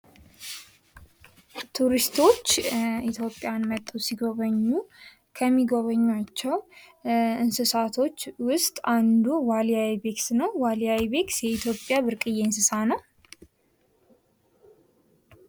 ቱሪስቶች ኢትዮጵያን መጥተው ሲጎበኙ ከሚጎበኟቸው እንስሳቶች ውስጥ አንዱ ዋልያ የአይቤክስ ነው። ዋልያ የአይቤክስ የኢትዮጵያ ብርቅዬ እንስሳ ነው።